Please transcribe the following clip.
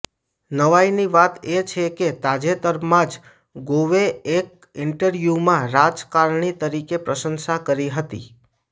નવાઈની વાત એ છે કે તાજેતરમાં જ ગોવે એક ઈન્ટર્વ્યૂમાં રાજકારણી તરીકે પ્રશંસા કરી હતી